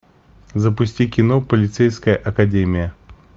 запусти кино полицейская академия